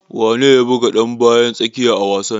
Wane ne ya buga dan bayan tsakiya a wasan?